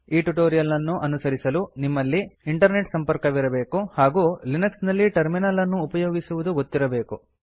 ಈ ಟ್ಯುಟೋರಿಯಲ್ ಅನ್ನು ಅನುಸರಿಸಲು ನಿಮ್ಮಲ್ಲಿ ಇಂಟರ್ನೆಟ್ ಸಂಪರ್ಕವಿರಬೇಕು ಹಾಗೂ ಲಿನಕ್ಸ್ ನಲ್ಲಿ ಟರ್ಮಿನಲ್ ಅನ್ನು ಉಪಯೋಗಿಸುವುದು ಗೊತ್ತಿರಬೇಕು